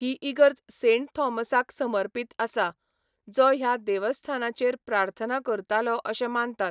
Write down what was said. ही इगर्ज सेंट थॉमसाक समर्पित आसा, जो ह्या देवस्थानाचेर प्रार्थना करतालो अशें मानतात.